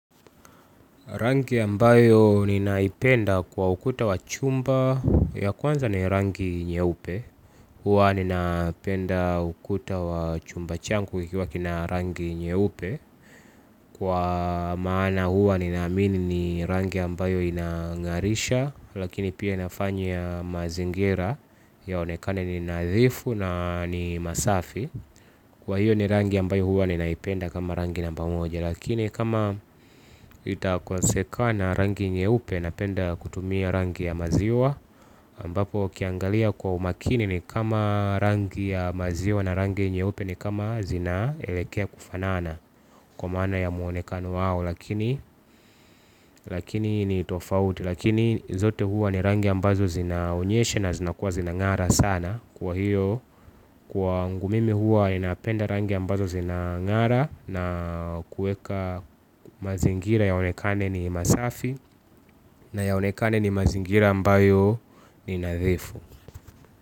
Rangi ambayo ninaipenda kwa ukuta wa chumba ya kwanza ni rangi nyeupe. Huwa ninapenda ukuta wa chumba changu kikiwa kina rangi nyeupe. Kwa maana huwa ninaamini ni rangi ambayo inang'arisha. Lakini pia inafanya mazingira yaonekane ni nadhifu na ni masafi. Kwa hiyo ni rangi ambayo huwa ninaipenda kama rangi namba moja. Lakini kama itakosekana rangi nyeupe napenda kutumia rangi ya maziwa ambapo ukiangalia kwa umakini ni kama rangi ya maziwa na rangi nyeupe ni kama zinaelekea kufanana. Kwa maana ya muonekano wao lakini lakini ni tofauti. Lakini zote hua ni rangi ambazo zinaonyesha na zinakuwa zinang'ara sana. Kwa hiyo, kwangu mimi huwa ninapenda rangi ambazo zinang'ara na kueka mazingira yaonekane ni masafi na yaonekane ni mazingira ambayo ni nadhifu.